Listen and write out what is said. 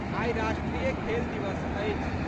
आई राष्ट्रीय खेल दिवस अछि।